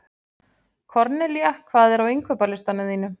Kornelía, hvað er á innkaupalistanum mínum?